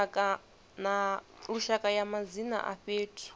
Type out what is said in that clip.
lushaka ya madzina a fhethu